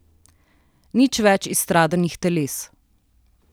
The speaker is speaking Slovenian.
Nič več izstradanih teles.